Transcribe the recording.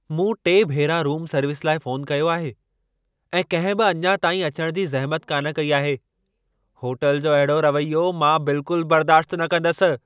मूं टे भेरा रूम सर्विस लाइ फ़ोनु कयो आहे ऐं कंहिं बि अञा ताईं अचण जी ज़हमत कान कई आहे। होटल जो अहिड़ो रवैयो मां बिल्कुल बर्दाश्त न कंदसि।